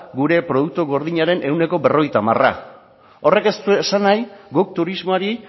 gure produktu gordinaren ehuneko berrogeita hamara horrek ez du esan nahi guk turismoari